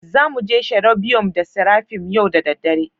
Za mu je cherobium da seraphim yau da dare